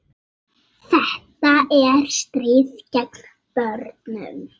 Þetta er stríð gegn börnum